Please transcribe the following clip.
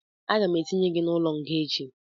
Aga m etinye gị n'ụlọ nga echi